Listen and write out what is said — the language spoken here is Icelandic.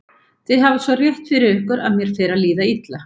Þið hafið svo rétt fyrir ykkur að mér fer að líða illa.